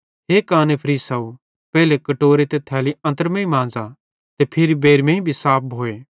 हे काने फरीसाव पेइले कटोरो ते थाली अन्त्रमेईं मांज़ा ते फिरी बेइरमेईं भी साफ भोए